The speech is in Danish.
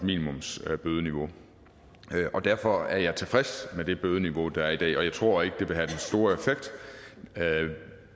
minimumsbødeniveau og derfor er jeg tilfreds med det bødeniveau der er i dag og jeg tror ikke det vil have den store effekt